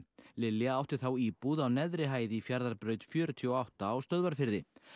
Lilja átti þá íbúð á neðri hæð í Fjarðarbraut fjörutíu og átta á Stöðvarfirði